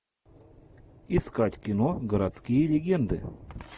искать кино городские легенды